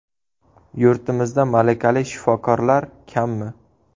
Yurtimizda malakali shifokorlar kammi?